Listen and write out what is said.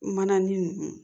Mana nin